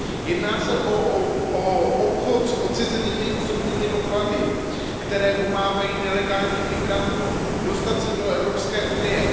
Jedná se o obchod s odcizenými osobními doklady, které pomáhají nelegálním migrantům dostat se do Evropské unie.